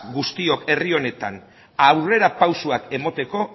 guztiok herri honetan aurrerapausoak emateko